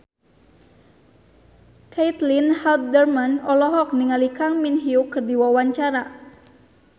Caitlin Halderman olohok ningali Kang Min Hyuk keur diwawancara